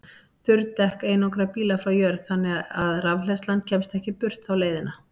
Þurr dekk einangra bílana frá jörð þannig að rafhleðslan kemst ekki burt þá leiðina.